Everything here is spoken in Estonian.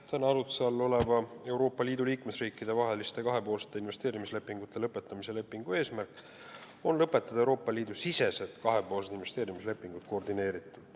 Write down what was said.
Täna arutluse all oleva Euroopa Liidu liikmesriikide vaheliste kahepoolsete investeerimislepingute lõpetamise lepingu eesmärk on lõpetada koordineeritult Euroopa Liidu sisesed kahepoolsed investeerimislepingud.